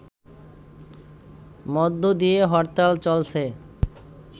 মধ্য দিয়ে হরতাল চলছে